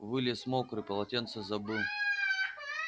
вылез мокрый полотенце забыл